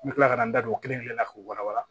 N bɛ tila ka n da don o kelen kelen na k'o walawala